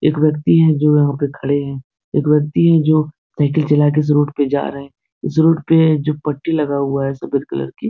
एक व्यक्ति हैं जो यहाँ पे खड़े हैं। एक व्यक्ति हैं जो साइकिल चलाकर इस रोड पे जा रहें हैं। इस रोड पे जो पट्टी लगा हुआ है सफेद कलर की --